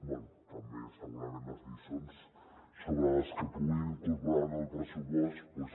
bé també segurament les lliçons sobre el que puguin incorporar en el pressupost doncs